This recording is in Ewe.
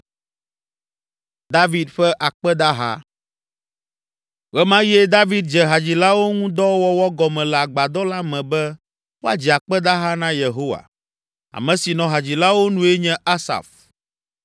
Ɣe ma ɣie David dze hadzilawo ŋu dɔ wɔwɔ gɔme le Agbadɔ la me be woadzi akpedaha na Yehowa. Ame si nɔ hadzilawo nue nye Asaf.